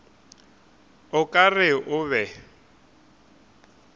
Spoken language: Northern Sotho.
o ka re o be